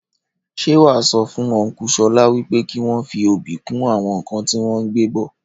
Ṣé wàá sọ fún ọnku Ṣọlá wípé kìí wọn fí obì kún àwọn nkan tí wọn gbé bọ̀